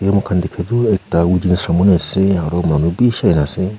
moi khan dekha toh ekta wedding ceremony aru manu beshi ahina ase.